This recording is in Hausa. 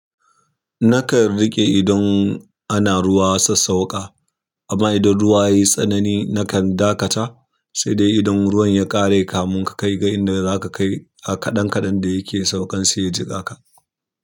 Nakan riƙe idan ana ruwa sassauƙa amma idan ruwa yayi tsanani nakan dakata, sai dai idan ruwan ya ƙare kamun ka kai ga inda zaka kai a kaɗan kaɗan da yake saukan sai ya jiƙa ka.